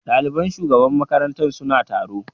Ɗaliban shugaban makarantar suna taro.